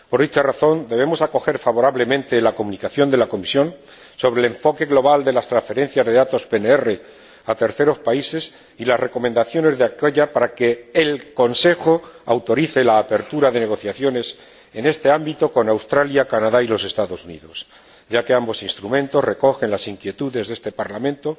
Por esta razón, debemos acoger favorablemente la Comunicación de la Comisión sobre el enfoque global de las transferencias de datos PNR a terceros países y las recomendaciones de aquélla para que el Consejo autorice la apertura de negociaciones en este ámbito con Australia, el Canadá y los Estados Unidos, ya que ambos instrumentos recogen las inquietudes de este Parlamento